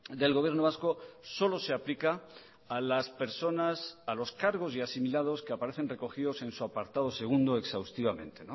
del gobierno vasco solo se aplica a las personas a los cargos y asimilados que aparecen recogidos en su apartado segundo exhaustivamente